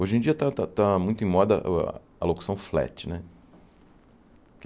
Hoje em dia está está está muito em moda aa locução flat, né?